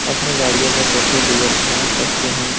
अपने गाड़ियों मे पेट्रोल-डीजल भरा सकते है ।